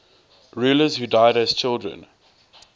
rulers who died as children